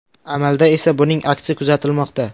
Amalda esa buning aksi kuzatilmoqda.